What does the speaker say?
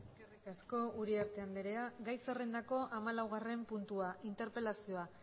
eskerrik asko uriarte anderea gai zerrendako hamalaugarren puntua interpelazioa